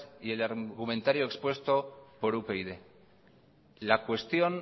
y el argumentario expuesto por upyd la cuestión